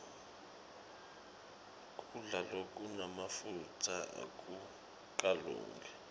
kudla lokunemafutsa akukalungi